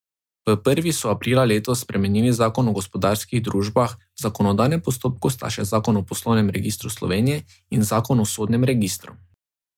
V prvi so aprila letos spremenili zakon o gospodarskih družbah, v zakonodajnem postopku sta še zakon o Poslovnem registru Slovenije in zakon o sodnem registru.